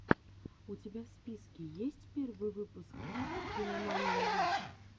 у тебя в списке есть первый выпуск кинамании лив